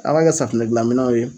A b'a kɛ safunɛ gilan minɛw ye